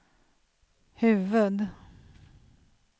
huvud-